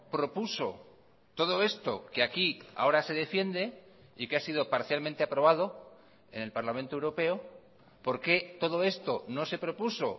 propuso todo esto que aquí ahora se defiende y que ha sido parcialmente aprobado en el parlamento europeo por qué todo esto no se propuso